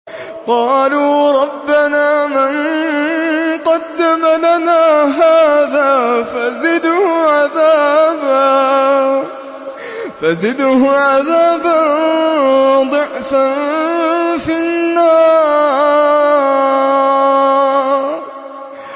قَالُوا رَبَّنَا مَن قَدَّمَ لَنَا هَٰذَا فَزِدْهُ عَذَابًا ضِعْفًا فِي النَّارِ